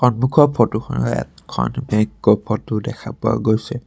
সন্মুখৰ ফটো খনত এখন বেংক ৰ ফটো দেখা পোৱা গৈছে।